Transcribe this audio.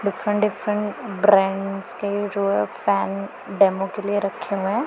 Different different brands के जो है फैन डेमो के लिए रखे हुए हैं।